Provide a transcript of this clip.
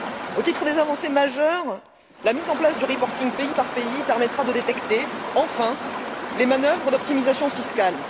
Au titre des avancées majeures, la mise en place du reporting pays par pays permettra de détecter, enfin, les manœuvres d'optimisation fiscale.